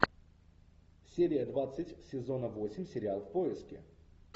серия двадцать сезона восемь сериал в поиске